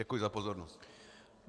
Děkuji za pozornost.